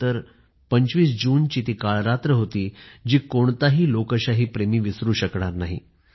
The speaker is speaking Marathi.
१९७५२५ जून ती अशी काळरात्र होती जी कोणताही लोकशाही प्रेमी विसरू शकणार नाही